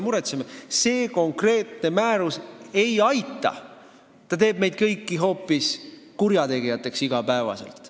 See konkreetne määrus ei aita – see teeb meist kõigist hoopis igapäevased kurjategijad.